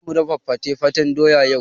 Zamu dafa fate-fatan doya yau.